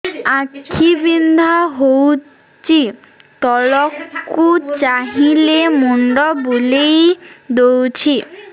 ଆଖି ବିନ୍ଧା ହଉଚି ତଳକୁ ଚାହିଁଲେ ମୁଣ୍ଡ ବୁଲେଇ ଦଉଛି